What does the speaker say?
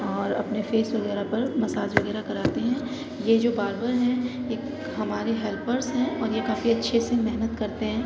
और अपने फेस वगैरह पर मसाज वगैरह कराते हैं। ये जो बारबर है। ये हमारे हेल्परस हैं और ये काफ़ी अच्छे से मेहनत करते हैं।